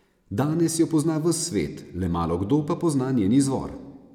Danes jo pozna ves svet, le malokdo pa pozna njen izvor.